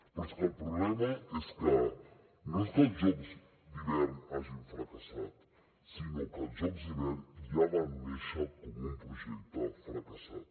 però és que el problema és que no és que els jocs d’hivern hagin fracassat sinó que els jocs d’hivern ja van néixer com un projecte fracassat